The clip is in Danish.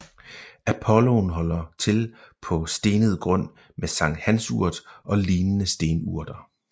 Apolloen holder til på stenet grund med sankthansurt og lignende stenurter